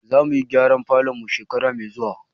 Za mu yi gyaran falon mu shekara mai zuwa.